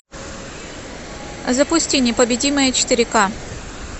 запусти непобедимые четыре ка